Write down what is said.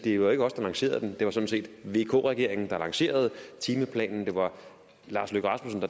jo ikke os der lancerede den det var sådan set vk regeringen der lancerede timeplanen det var lars løkke rasmussen